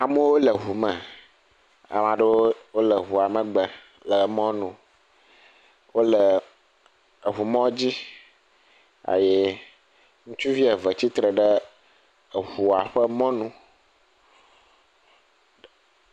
Amewo le ŋu me. Ame aɖewo wole ŋua megbe le emɔ nu. Wole eŋumɔdzi eye ŋutsuvi eve tsitre ɖe eŋua ƒe mɔnu.